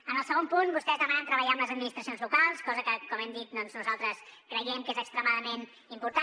en el segon punt vostès demanen treballar amb les administracions locals cosa que com hem dit nosaltres creiem que és extremadament important